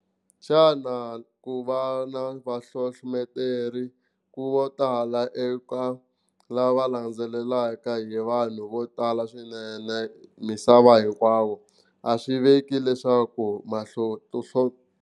Xana ku va na vahlohloteri vo tala eka lava landzelelaka hi vanhu vo tala swinene misava hinkwayo a swi veki leswaku .